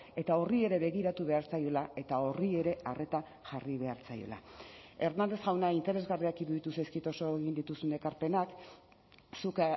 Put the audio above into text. eta horri ere begiratu behar zaiola eta horri ere arreta jarri behar zaiola hernández jauna interesgarriak iruditu zaizkit oso egin dituzun ekarpenak zuk